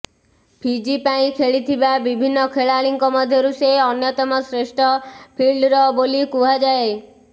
Fiji ପାଇଁ ଖେଳିଥିବା ବିଭିନ୍ନ ଖେଳାଳିଙ୍କ ମଧ୍ୟରୁ ସେ ଅନ୍ୟତମ ଶ୍ରେଷ୍ଠ ଫିଲ୍ଡର ବୋଲି କୁହାଯାଏ